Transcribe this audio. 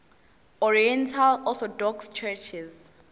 oriental orthodox churches